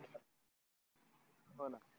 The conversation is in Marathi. हो ना